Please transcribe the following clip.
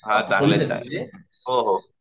हां चांगले आहेत चांगले आहेत हो हो